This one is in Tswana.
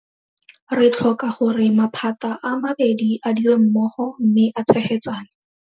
Re tlhoka gore maphata a mabedi a dire mmogo mme a tshegetsane.